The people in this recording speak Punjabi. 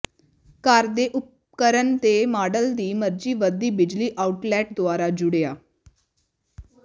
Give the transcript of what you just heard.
ਘਰ ਦੇ ਉਪਕਰਣ ਦੇ ਮਾਡਲ ਦੀ ਮਰਜ਼ੀ ਵਧਦੀ ਬਿਜਲੀ ਆਊਟਲੈੱਟ ਦੁਆਰਾ ਜੁੜਿਆ